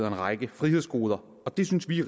en række frihedsgoder og det synes vi